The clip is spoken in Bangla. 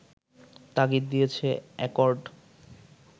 তাগিদ দিয়েছে অ্যাকর্ড